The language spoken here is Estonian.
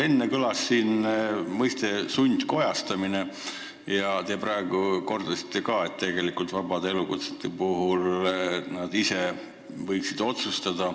Enne kõlas siin mõiste "sundkojastamine" ja te praegu kordasite, et tegelikult vabade elukutsete esindajad võiksid otsustada.